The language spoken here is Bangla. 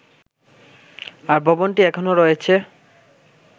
আর ভবনটি এখনও রয়েছে